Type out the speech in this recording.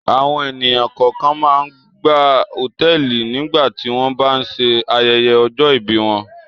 Àwọn ènìyàn kọ̀ọ̀kan máa ń gba hòtẹ́ẹ́lì nígbà tí wọ́n bá ń ṣe ayẹyẹ ọjọ́-ìbí wọn.